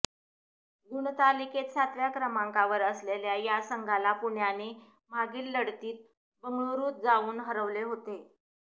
गुणतालिकेत सातव्या क्रमांकावर असलेल्या या संघाला पुण्याने मागील लढतीत बंगळुरूत जाऊन हरवले होते